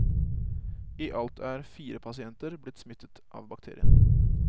I alt er fire pasienter blitt smittet av bakterien.